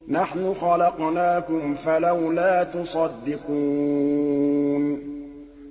نَحْنُ خَلَقْنَاكُمْ فَلَوْلَا تُصَدِّقُونَ